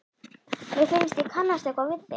Mér finnst ég kannast eitthvað við þig?